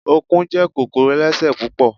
Ọ̀kùn jẹ́ kòkòrò ẹlẹ́sẹ̀ púpọ̀